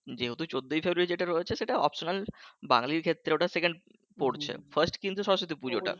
যেহেতু চোদ্দই ফেব্রুয়ারি যেটা রয়েছে সেটা optional বাঙালির ক্ষেত্রে ওটা সেকেন্ড পরছে fast কিন্তু সরস্বতী পুরোটা